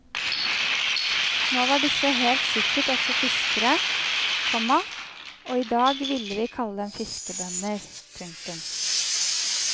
Nå var disse helt sikkert også fiskere, komma og i dag ville vi kalle dem fiskerbønder. punktum